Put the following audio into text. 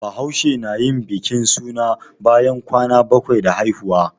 Bahaushe na yin bikin suna bayan kwana bakwai da haihuwa